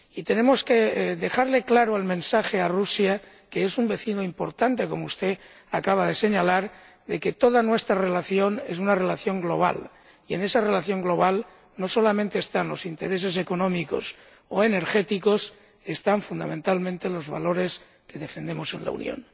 Y tenemos que dejarle claro el mensaje a Rusia ―que es un vecino importante, como usted acaba de señalar― de que toda nuestra relación es una relación global, y en esa relación global no solamente están los intereses económicos o energéticos están fundamentalmente los valores que defendemos en la Unión.